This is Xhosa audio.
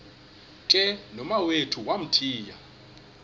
ke nomawethu wamthiya